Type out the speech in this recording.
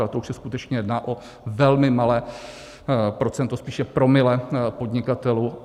Ale to už se skutečně jedná o velmi malé procento, spíše promile podnikatelů.